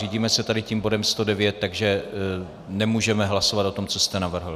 Řídíme se tady tím bodem 109, takže nemůžeme hlasovat o tom, co jste navrhl.